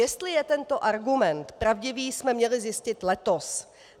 Jestli je tento argument pravdivý, jsme měli zjistit letos.